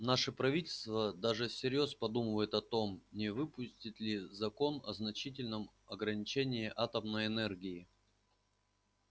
наше правительство даже всерьёз подумывает о том не выпустить ли закон о значительном ограничении атомной энергии